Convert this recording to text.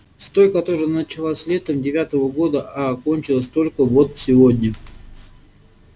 с той которая началась летом девятого года а кончилась только вот сегодня